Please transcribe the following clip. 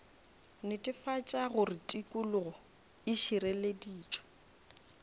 netefatša gore tikologo e šireleditšwe